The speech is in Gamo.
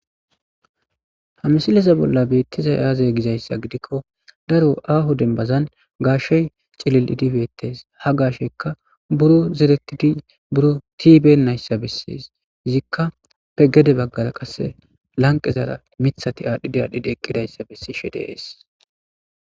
ha msileza bolla beettiza yaaze gizayssa gidikko daro aaho denbazan gaashey cilil7idibettes ha gaashekka buro zeretidi buro tiibe nayssa bessees zikka pegede baggara qasse lanqezaara mithati aadhdhidi aadhidi eqqidayssa bessishe de'ees